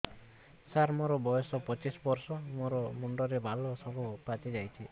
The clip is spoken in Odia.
ସାର ମୋର ବୟସ ପଚିଶି ବର୍ଷ ମୋ ମୁଣ୍ଡରେ ବାଳ ସବୁ ପାଚି ଯାଉଛି